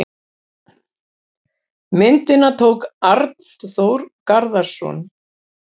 Myndina tók Arnþór Garðarsson.